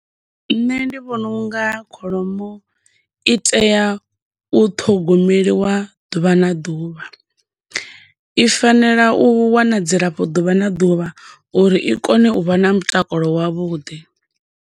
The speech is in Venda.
Nṋe ndi vhona unga kholomo i tea u ṱhogomeliwa ḓuvha na ḓuvha, i fanela u wana dzi lafho ḓuvha na ḓuvha uri i kone u vha na mutakalo wa vhuḓi.